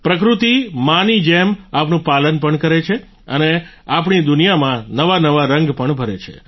પ્રકૃતિ માં ની જેમ આપણું પાલન પણ કરે છે અને આપણી દુનિયામાં નવા નવા રંગ પણ ભરે છે